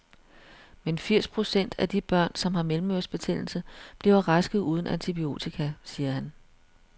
Men firs procent af de børn, som har mellemørebetændelse, bliver raske uden antibiotika, siger han.